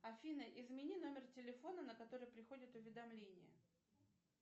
афина измени номер телефона на который приходят уведомления